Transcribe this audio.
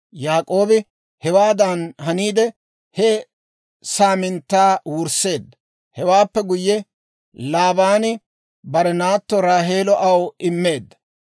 Yaak'oobi hewaadan haniide he saaminttaa wursseedda; hewaappe guyye, Laabaani bare naatto Raaheelo aw immeedda.